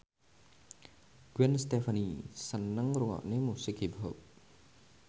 Gwen Stefani seneng ngrungokne musik hip hop